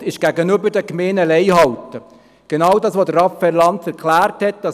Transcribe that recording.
Wort halten gegenüber den Gemeinden – genau das, was Raphael Lanz erklärt hat.